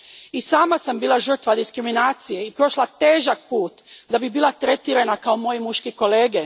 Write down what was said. I sama sam bila žrtva diskriminacije i prošla težak put da bih bila tretirana kao moji muški kolege.